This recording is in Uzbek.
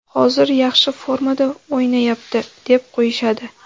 hozir yaxshi formada o‘ynayapti deb qo‘yishadi.